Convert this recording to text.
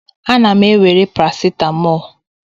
Ana m ewere paracetamol.